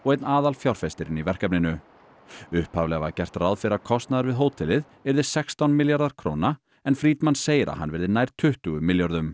einn í verkefninu upphaflega var gert ráð fyrir að kostnaður við hótelið yrði sextán milljarðar króna en segir að hann verði nær tuttugu milljörðum